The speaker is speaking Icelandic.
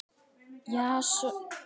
Jason og Medea.